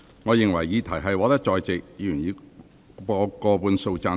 我認為議題獲得在席議員以過半數贊成。